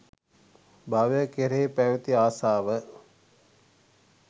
භවය කෙරෙහි පැවති ආසාව